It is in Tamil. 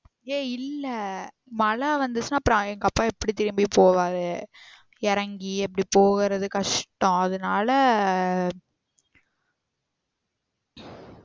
ஏய் இல்ல மழ வந்துச்சினா அப்ரோ எங்க அப்பா எப்டி திரும்பி போவாரு இறங்கி எப்டி போகுறது கஷ்டம் அதுனால